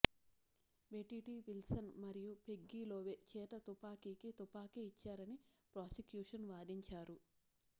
బెటిటీ Wilson మరియు Peggy Love చేత తుపాకీకి తుపాకీ ఇచ్చారని ప్రాసిక్యూషన్ వాదించారు